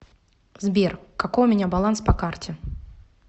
сбер какой у меня баланс по карте